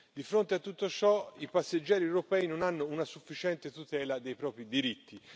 Di fronte a tutto ciò i passeggeri europei non hanno una sufficiente tutela dei propri diritti.